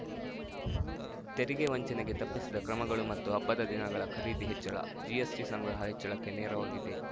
ತೆರಿಗೆ ವಂಚನೆಗೆ ತಪ್ಪಿಸಿದ ಕ್ರಮಗಳು ಮತ್ತು ಹಬ್ಬದ ದಿನಗಳ ಖರೀದಿ ಹೆಚ್ಚಳ ಜಿಎಸ್‌ಟಿ ಸಂಗ್ರಹ ಹೆಚ್ಚಳಕ್ಕೆ ನೆರವಾಗಿದೆ